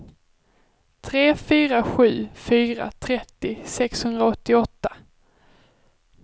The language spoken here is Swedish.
tre fyra sju fyra trettio sexhundraåttioåtta